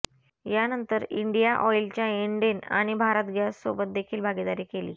यानंतर इंडिया ऑइलच्या इण्डेन आणि भारत गॅससोबत देखील भागीदारी केली